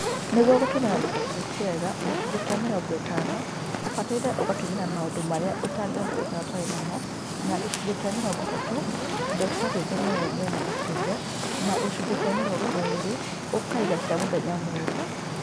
Nĩguo gũtũmĩra mbeca ciaku wega, gĩcunjĩ kĩa mĩrongo ĩtano ũbataire ũgatũmĩra na maũndũ marĩa ũtangĩhota gũikara ũtarĩ namo, na gĩcunjĩ kĩa mĩrongo ĩtatũ indo cia gwĩkenia we mwene ta kĩũmbe, na gĩcunjĩ kĩa mĩrongo ĩrĩ, ũkaiga cia mũthenya mũru.